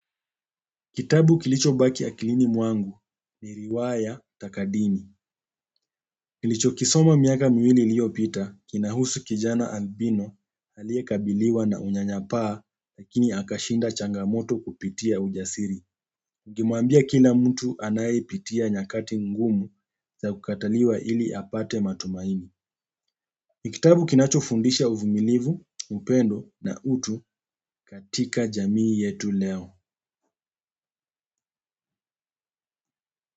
Kitabu kilicho baki akilini mwangu ni riwaya takadini. Nilichokisoma miaka miwili iliyopita kinahusu kijana albino aliyekabaliwa na unyanyapaa lakini akashinda changamoto kupitia ujasiri kimwambia kila mtu anaye pitia nyakati ngumu za kukataliwa ili apate matumaini. Ni kitabu kinacho fundisha uvumilivu, upendo na utu katika jamii yetu leo.